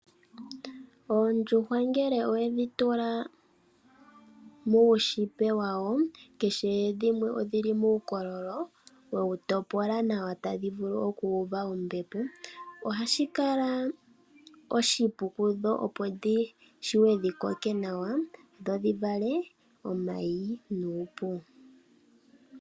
Oondjuhwa ngele owedhi tula muushipe wawo, keshe dhimwe odhili muukololo, wewu topola nawa tadhi vulu okuuva ombepo, ohashikala oshipu kundho opo dhi shiwe dhikoke nawa, dho dhi vale omayi nuupu.